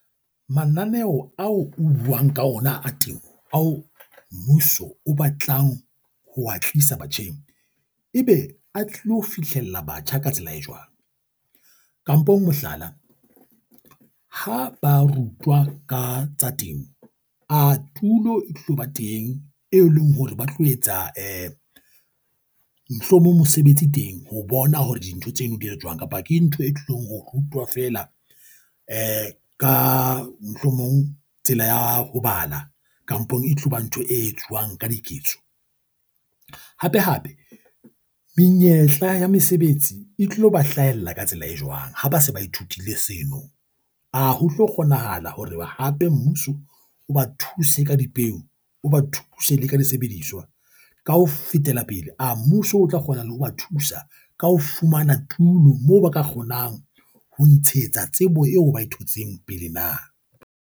Mananeo ao o buang ka ona a temo ao mmuso o batlang ho wa tlisa batjheng ebe a tlo fihlela batjha ka tsela e jwang, kampong mohlala, ha ba rutwa ka tsa temo a tulo e tlo ba teng, e leng hore ba tlo etsa mohlomong mosebetsi teng ho bona hore dintho tseno di jwang kapa ke ntho e tlong ho rutwa fela ka mohlomong tsela ya ho bala kampong e tloba ntho e etsuwang ka diketso. Hape hape, menyetla ya mesebetsi e tlo ba hlahella ka tsela e jwang ha ba se ba ithutile seno? A ho tlo kgonahala hore hape mmuso o ba thuse ka dipeu, o ba thusa le ka disebediswa ka ho fetela pele a mmuso, o tla kgona le ho ba thusa ka ho fumana tulo, moo ba ka kgonang ho ntshetsa tsebo eo bae thotseng pele na?